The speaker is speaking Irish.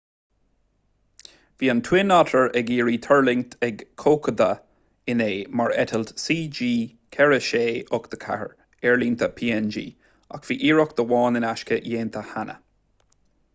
bhí an twin otter ag iarraidh tuirlingt ag kokoda inné mar eitilt cg4684 aerlínte png ach bhí iarracht amháin in aisce déanta cheana